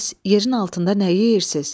Bəs yerin altında nə yeyirsiz?